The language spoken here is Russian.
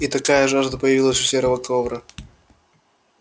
и такая жажда появилась у серого ковра